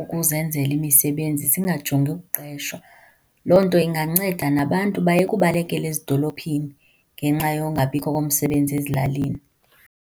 ukuzenzela imisibenzi singajongi ukuqeshwa. Loo nto inganceda nabantu bayeke ubalekela ezidolophini ngenxa yokungabikho komsebenzi ezilalini.